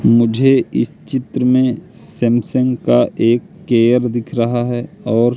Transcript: मुझे इस चित्र में सैमसंग का एक केयर दिख रहा है और--